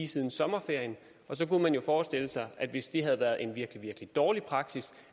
siden sommerferien og så kunne man jo forestille sig at hvis det havde været en virkelig virkelig dårlig praksis